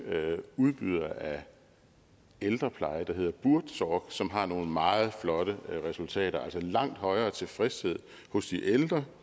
udbyder af ældrepleje der hedder buurtzorg som har nogle meget flotte resultater altså en langt højere tilfredshed hos de ældre